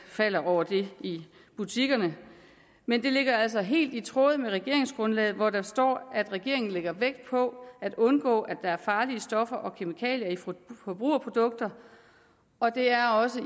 falder over i butikkerne men det ligger altså helt i tråd med regeringsgrundlaget hvor der står at regeringen lægger vægt på at undgå at der er farlige stoffer og kemikalier i forbrugerprodukter og det er også